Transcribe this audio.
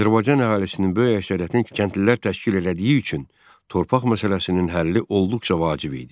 Azərbaycan əhalisinin böyük əksəriyyətinin kəndlilər təşkil elədiyi üçün torpaq məsələsinin həlli olduqca vacib idi.